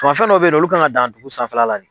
Fɛ dɔw bɛ yen nɔ, olu kan ka dan dugu sanfɛla la den.